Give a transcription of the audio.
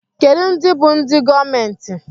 Kedụ ndị bú ndị gọọmenti?